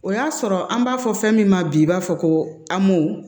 O y'a sɔrɔ an b'a fɔ fɛn min ma bi i b'a fɔ ko a mo